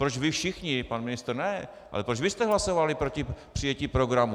Proč vy všichni - pan ministr ne - ale proč vy jste hlasovali proti přijetí programu?